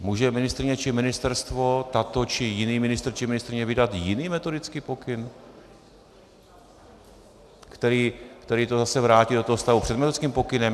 Může ministryně či ministerstvo, tato, či jiný ministr či ministryně vydat jiný metodický pokyn, který to zase vrátí do toho stavu před metodickým pokynem?